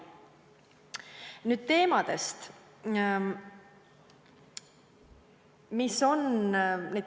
Nüüd teemadest.